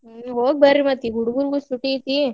ಹೋಗಿಬರ್ರಿ ಮತ್ತ್ ಹುಡಗುರ್ಗು ಸೂಟಿ ಐತಿ.